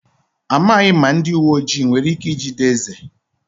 Amaghị m ma ndị uwe ojii nwere ike ijide eze.